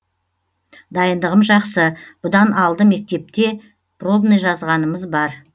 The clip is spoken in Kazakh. дайындығым жақсы бұдан алды мектепте пробный жазғанымыз бар